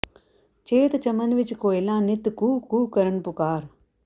ਚੇਤ ਚਮਨ ਵਿਚ ਕੋਇਲਾਂ ਨਿੱਤ ਕੂ ਕੂ ਕਰਨ ਪੁਕਾਰ